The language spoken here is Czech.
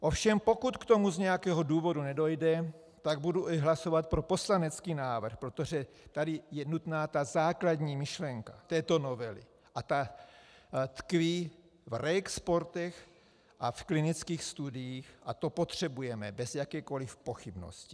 Ovšem pokud k tomu z nějakého důvodu nedojde, tak budu hlasovat i pro poslanecký návrh, protože tady je nutná ta základní myšlenka této novely a ta tkví v reexportech a v klinických studiích a to potřebujeme bez jakékoliv pochybnosti.